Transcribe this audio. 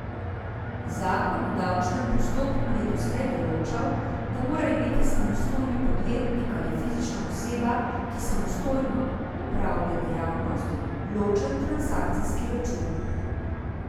Zakon o davčnem postopku je doslej določal, da mora imeti samostojni podjetnik ali fizična oseba, ki samostojna opravlja dejavnost, ločen transakcijski račun.